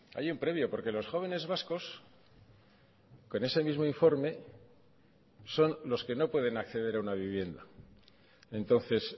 hay un previo porque los jóvenes vascos con ese mismo informe son los que no pueden acceder a una vivienda entonces